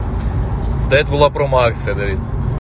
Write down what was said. да это была промоакция давид